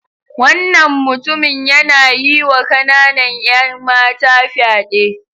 Wannan mutumin yana yiwa kananan 'yan mata fyade.